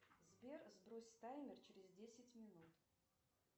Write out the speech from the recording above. сбер сбрось таймер через десять минут